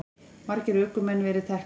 Margir ökumenn verið teknir